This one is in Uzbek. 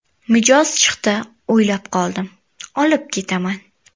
Mijoz chiqdi, o‘ylab qoldim: ‘Olib ketaman.